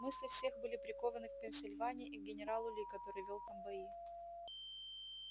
мысли всех были прикованы к пенсильвании и к генералу ли который вёл там бои